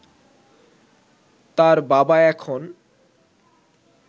তার বাবা এখন